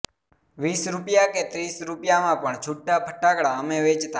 વીસ રુપીયા કે ત્રીસ રુપીયામાં પણ છુટ્ટા ફટાકડા અમે વેચતા